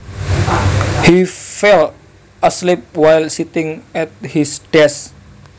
He fell asleep while sitting at his desk